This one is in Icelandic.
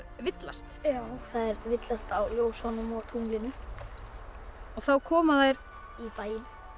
villast þær villast á ljósunum og tunglinu og þá koma þær í bæinn